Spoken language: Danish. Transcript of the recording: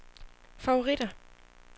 favoritter